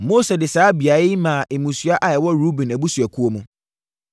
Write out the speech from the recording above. Mose de saa beaeɛ yi maa mmusua a ɛwɔ Ruben abusuakuo mu.